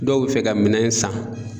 Dɔw bɛ fɛ ka minɛn san.